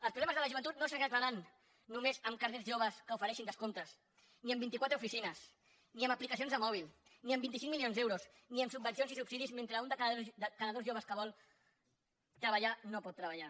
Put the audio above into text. els problemes de la joventut no s’arreglaran només amb carnets joves que ofereixin descomptes ni amb vint i quatre oficines ni amb aplicacions de mòbil ni amb vint cinc milions d’euros ni amb subvencions ni subsidis mentre un de cada dos joves que vol treballar no pot treballar